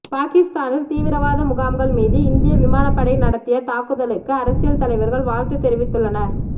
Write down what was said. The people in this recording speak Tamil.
பாகிஸ்தானில் தீவிரவாத முகாம்கள் மீது இந்திய விமானப் படை நடத்திய தாக்குதலுக்கு அரசியல் தலைவர்கள் வாழ்த்து தெரிவித்துள்ளனர்